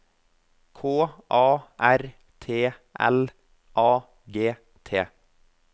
K A R T L A G T